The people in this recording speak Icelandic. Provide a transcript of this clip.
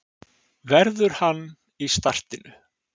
Verður hann í startinu?